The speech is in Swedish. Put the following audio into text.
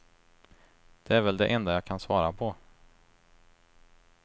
Det är väl det enda jag kan svara på.